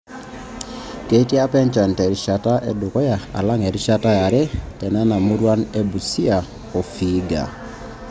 Keikiti APA enchan terishata edukuya alang erishata yare tenena muruan e Busia o te Vihiga.